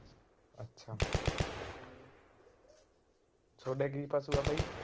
ਸੋਡੇ ਕੀ ਪਸ਼ੂ ਆ ਬਾਈ।